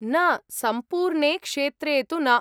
न, सम्पूर्णे क्षेत्रे तु न।